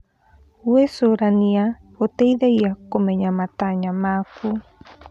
Gwĩcũrania gũteithagia kũmenya matanya maku.